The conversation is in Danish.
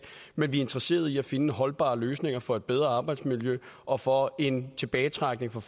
men vi er interesserede i at finde holdbare løsninger for et bedre arbejdsmiljø og for en tilbagetrækning for